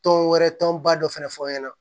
Tɔn wɛrɛ tɔnba dɔ fɛnɛ fɔ n ɲɛna